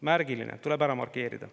Märgiline, tuleb ära markeerida.